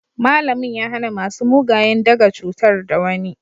malamin ya hana masu mugayen daga cutar da wani